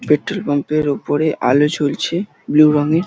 Petrol pump -এর ওপরে আলো জ্বলছে ব্লু রংয়ের।